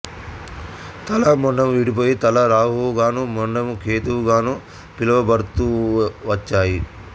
తల మొండెము విడిపోయి తల రాహువు గాను మొండెము కేతువు గాను పిలువబడుతూవచ్చారు